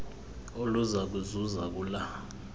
oluza kuzuza kula